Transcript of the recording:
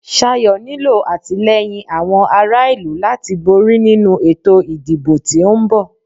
Sayo nílo àtìlẹ́yìn àwọn ará ìlú láti borí nínu ètò ìdìbò tí o ń bọ̀.